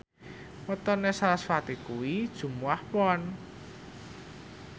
wetone sarasvati kuwi Jumuwah Pon